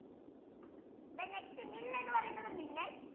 then next mill എന്ന് പറയുന്നത് millet